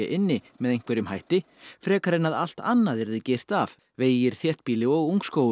inni með einhverjum hætti frekar en að allt annað yrði girt af vegir þéttbýli og